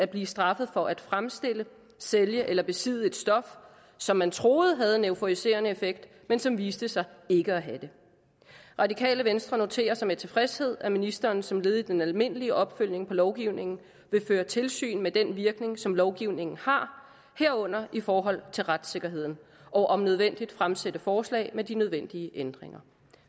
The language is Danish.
blive straffet for at fremstille sælge eller besidde et stof som man troede havde en euforiserende effekt men som viste sig ikke at have det radikale venstre noterer sig med tilfredshed at ministeren som led i den almindelige opfølgning på lovgivningen vil føre tilsyn med den virkning som lovgivningen har herunder i forhold til retssikkerheden og om nødvendigt fremsætte forslag med de nødvendige ændringer